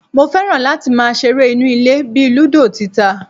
Mo fẹ́ràn láti máa ṣeré inú ilé bíi ludo tita